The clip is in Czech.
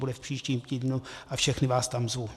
Bude v příštím týdnu a všechny vás tam zvu.